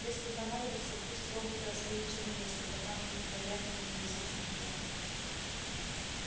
если понадобится пусть роботы остаются на месте пока мы не проявим и не изучим плёнки